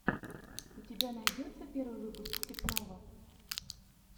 у тебя найдется первый выпуск степного